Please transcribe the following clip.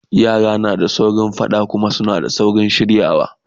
yara na saurin faɗa da Kuma suna saurin shiryawa